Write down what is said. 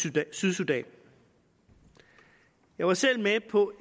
er det sydsudan jeg var selv med på